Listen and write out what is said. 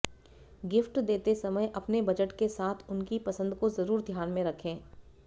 gift देते समय अपने बजट के साथ उनकी पसंद को जरुर ध्यान में रखें